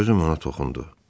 Sözüm ona toxundu.